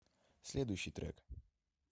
следующий трек